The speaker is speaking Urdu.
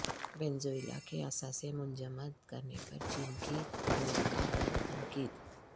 وینزویلا کے اثاثے منجمد کرنے پر چین کی امریکہ پر تنقید